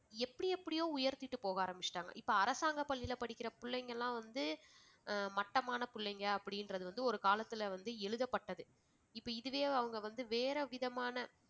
எப்படி எப்படியோ உயர்த்திட்டு போக ஆரம்பிச்சுட்டாங்க. இப்ப அரசாங்க பள்ளியில்ல படிக்கிற புள்ளைங்ககெல்லாம் வந்து ஆஹ் மட்டமான புள்ளைங்க அப்படின்றது வந்து ஒரு காலத்தில வந்து எழுதப்பட்டது. இப்ப இதுவே அவங்க வந்து வேற விதமான